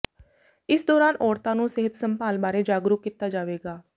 ਇਸ ਦੌਰਾਨ ਔਰਤਾਂ ਨੂੰ ਸਿਹਤ ਸੰਭਾਲ ਬਾਰੇ ਜਾਗਰੂਕ ਕੀਤਾ ਜਾਵੇਗਾ